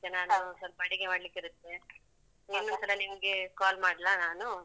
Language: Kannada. ಈಗ ನಾನು ಸ್ವಲ್ಪ ಅಡಿಗೆ ಮಾಡ್ಲಿಕ್ಕಿರತ್ತೆ ಇನ್ನೊಂದ್ಸಲ ನಿಮ್ಗೆ call ಮಾಡ್ಲಾ ನಾನು?